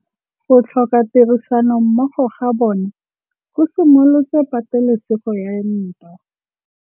Go tlhoka tirsanommogo ga bone go simolotse patêlêsêgô ya ntwa.